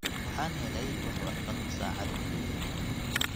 waxaan helay wax warqad ah saacadii ugu dambaysay